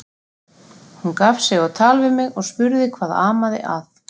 Hún gaf sig á tal við mig og spurði hvað amaði að.